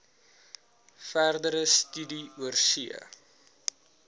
verdere studie oorsee